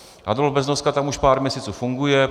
Adolf Beznoska tam už pár měsíců funguje.